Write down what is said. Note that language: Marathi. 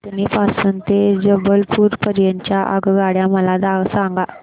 कटनी पासून ते जबलपूर पर्यंत च्या आगगाड्या मला सांगा